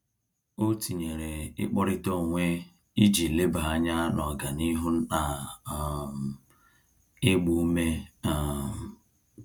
O tinyere ikpọrita onwe iji leba anya n'ọganihu na um ịgba ume um